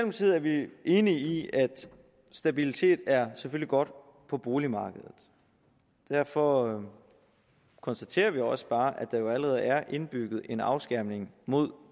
vi selvfølgelig enige i at stabilitet er godt for boligmarkedet derfor konstaterer vi også bare at der allerede er indbygget en afskærmning mod